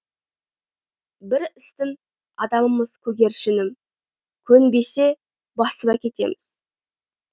біз істің адамымыз көгершінім көнбесе басып әкетеміз